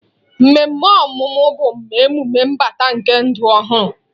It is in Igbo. Mmemme ọmụmụ bụ emume mbata nke ndụ ọhụrụ.